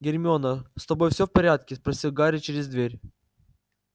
гермиона с тобой все в порядке спросил гарри через дверь